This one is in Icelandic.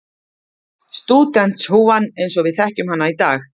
Stúdentshúfan eins og við þekkjum hana í dag.